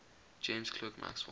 james clerk maxwell